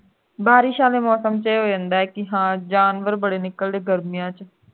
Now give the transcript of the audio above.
ਬਾਰਿਸ਼ ਵਾਲੇ ਮੌਸਮ ਦੇ ਵਿੱਚ ਇਹ ਹੋ ਜਾਂਦਾ ਹੈ ਜੀ ਕਿ ਹਾਂ ਜਾਨਵਰ ਬੜੇ ਨਿਕਲਦਾ ਹੈ ਗਰਮੀਆਂ ਦੇ ਵਿਚ